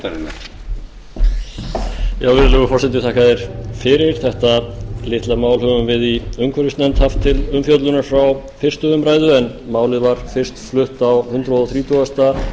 virðulegur forseti þetta litla mál höfum við í umhverfisnefnd haft til umfjöllunar frá fyrstu umræðu en málið var fyrst flutt á hundrað þrítugasta